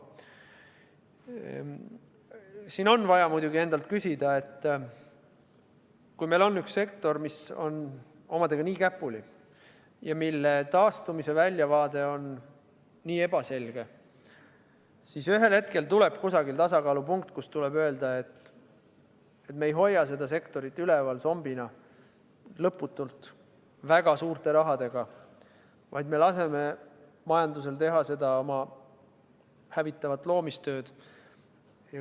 Siin on muidugi vaja endale tunnistada, et kui meil on üks sektor, mis on omadega nii käpuli ja mille taastumise väljavaade on nii ebaselge, siis ühel hetkel tuleb leida see tasakaalupunkt, kus on vaja öelda, et me ei hoia seda sektorit zombina lõputult üleval, paigutades sellesse väga suurt raha, vaid laseme majandusel teha oma hävitavat loomistööd.